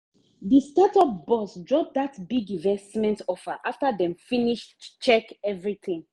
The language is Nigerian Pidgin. the startup boss drop that big investment offer after dem finish check everything.